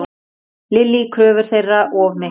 Lillý: Kröfur þeirra of miklar?